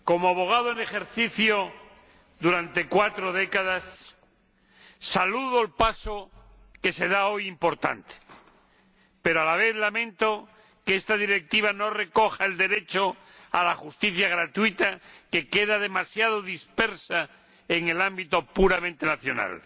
Señor Presidente, como abogado en ejercicio durante cuatro décadas saludo el importante paso que se da hoy, pero a la vez lamento que esta Directiva no recoja el derecho a la justicia gratuita, que queda demasiado disperso en el ámbito puramente nacional.